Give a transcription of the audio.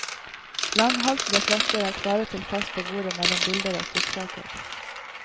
Langhalsede flasker er klare til fest på bordet mellom bilder og trykksaker.